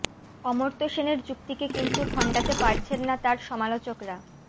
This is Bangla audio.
অমর্ত্য সেনের যুক্তিকে কিন্তু খণ্ডাতে পারছেন না তাঁর সমালোচকরা